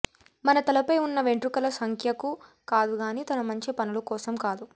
మన తలపై ఉన్న వెంట్రుకల సంఖ్యకు కాదుగాని తన మంచి పనుల కోసం కాదు